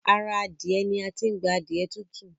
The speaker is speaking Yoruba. Ará Adiẹ ni a tí n gbà adiẹ tutu